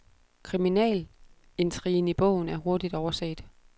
Kriminalintrigen i bogen er hurtigt overset.